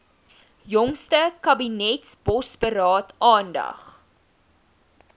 jongste kabinetsbosberaad aandag